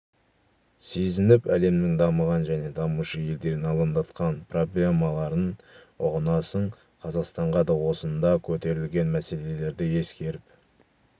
сезініп әлемнің дамыған және дамушы елдерін алаңдатқан проблемаларын ұғынасың қазақстанға да осында көтерілген мәселелерді ескеріп